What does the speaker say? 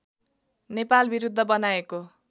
नेपालविरुद्ध बनाएको